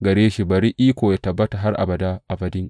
Gare shi bari iko yă tabbata har abada abadin.